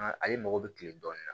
Ale mago bɛ kile dɔɔnin na